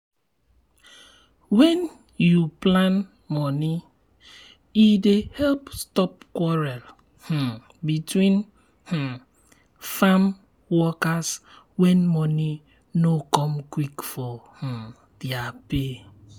wen u plan moni e dey help stop quarrel um between um farm workers when money no come quick for um their pay.